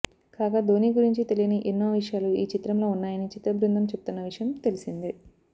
కాగా ధోనీ గురించి తెలియని ఎన్నో విషయాలు ఈ చిత్రంలో ఉన్నాయని చిత్ర బృందం చెబుతున్న విషయం తెలిసిందే